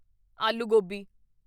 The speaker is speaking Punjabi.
ਆਲੂ ਗੋਬੀ